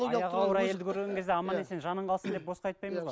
аяғы ауыр әйелді көрген кезде аман есен жаның қалсын деп босқа айтпаймыз ғой